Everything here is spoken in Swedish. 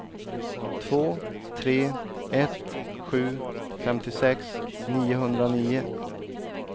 två tre ett sju femtiosex niohundranio